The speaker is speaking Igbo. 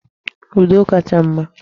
Udo kacha mma.